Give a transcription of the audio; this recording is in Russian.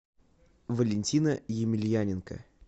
валентина емельяненко